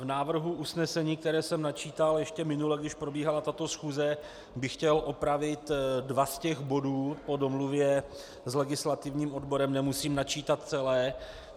V návrhu usnesení, které jsem načítal ještě minule, když probíhala tato schůze, bych chtěl opravit dva z těch bodů, po domluvě s legislativním odborem nemusím načítat celé.